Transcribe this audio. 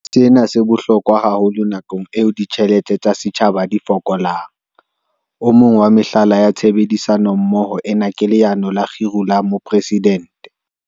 Sena se bohlokwa haholo nakong eo ditjhelete tsa setjhaba di fokolang. O mong wa mehlala ya tshebedisano mmoho ena ke Leano la Kgiro la Mopresi-dente.